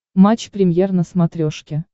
матч премьер на смотрешке